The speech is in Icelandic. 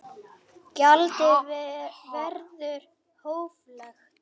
Gjaldið verður hóflegt